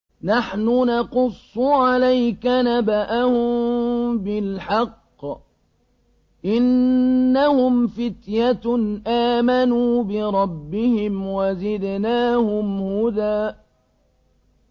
نَّحْنُ نَقُصُّ عَلَيْكَ نَبَأَهُم بِالْحَقِّ ۚ إِنَّهُمْ فِتْيَةٌ آمَنُوا بِرَبِّهِمْ وَزِدْنَاهُمْ هُدًى